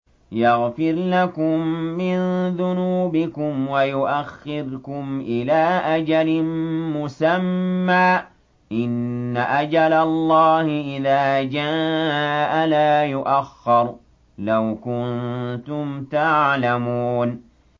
يَغْفِرْ لَكُم مِّن ذُنُوبِكُمْ وَيُؤَخِّرْكُمْ إِلَىٰ أَجَلٍ مُّسَمًّى ۚ إِنَّ أَجَلَ اللَّهِ إِذَا جَاءَ لَا يُؤَخَّرُ ۖ لَوْ كُنتُمْ تَعْلَمُونَ